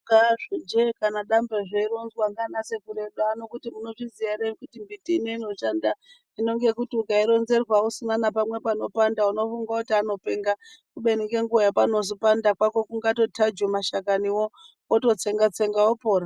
Kaa zvi je kana dambe zveironzwa ndiana sekuru edu ano kuti munozviziya ere kuti mumbiti ino inoshanda hino ngekuti ukaironerwa usina napamwe panopanda unofunge kuti anopenga kubeni ngenguwa yepanozopanda pako kungatotaju mashakaniwo wototsenga tsenga wopora.